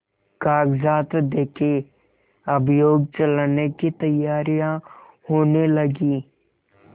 कागजात देखें अभियोग चलाने की तैयारियॉँ होने लगीं